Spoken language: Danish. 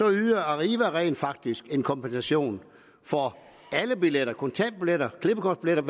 yder arriva rent faktisk en kompensation for alle billettyper kontantbilletter klippekort hvilket